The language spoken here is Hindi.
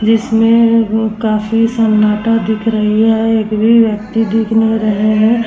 जिसमे में काफी संनाटा दिख रही है। एक भी व्यक्ति दिख नही रहे है।